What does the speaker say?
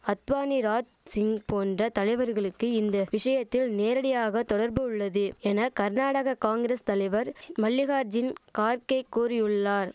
அத்வானி ராத் சிங் போன்ற தலைவர்களுக்கு இந்த விஷயத்தில் நேரடியாக தொடர்பு உள்ளது என கர்நாடக காங்கிரஸ் தலைவர் மல்லிகாஜின் கார்க்கே கோரியுள்ளார்